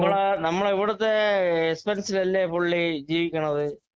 നമ്മളുടെ നമ്മുടെ ഏക്‌സ്‌പെൻസിലല്ലേ പുള്ളി ജീവിക്കണത്